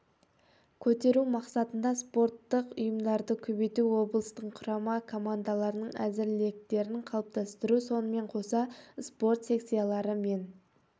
көтеру мақсатында спорттық ұйымдарды көбейту облыстың құрама командаларының әзірліктерін қалыптастыру сонымен қоса спорт секциялары мен